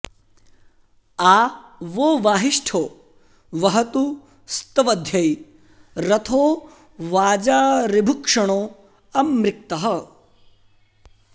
आ वो॒ वाहि॑ष्ठो वहतु स्त॒वध्यै॒ रथो॑ वाजा ऋभुक्षणो॒ अमृ॑क्तः